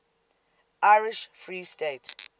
irish free state